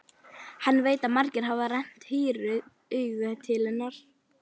Hann veit að margir hafa rennt hýru auga til hennar.